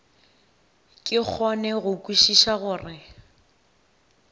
ke kgone go kwešiša gore